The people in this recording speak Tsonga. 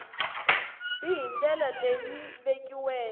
b hi ndlela leyi vekiweke